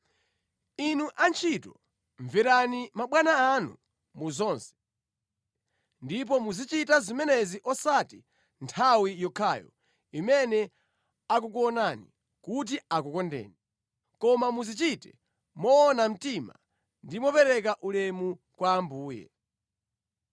Inu antchito, mverani mabwana anu mu zonse, ndipo muzichita zimenezi osati nthawi yokhayo imene akukuonani kuti akukondeni, koma muzichite moona mtima ndi mopereka ulemu kwa Ambuye.